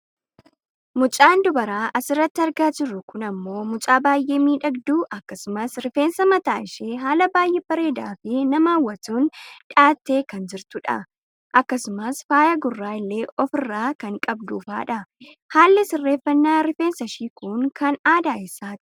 Mucaan dubaraa asirratti argaa jirru kun ammoo mucaa baayyee miidhagduu akkasumas rifeensa mataa ishee haala baayyee bareedaafi nama hawwatuun dhahattee kan jirtudha. Akkasumas faaya gurraa illee ofirraa kan qabfudha. Haalli sirreeffannaa rifeensashii kun kan aadaa eessaati?